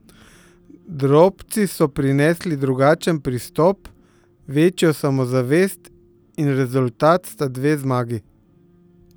Drobci so prinesli drugačen pristop, večjo samozavest in rezultat sta dve zmagi.